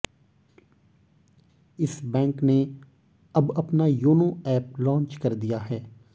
इस बैंक ने अब अपना योनो ऐप लांच कर दिया है